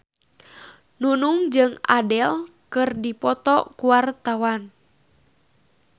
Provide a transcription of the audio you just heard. Nunung jeung Adele keur dipoto ku wartawan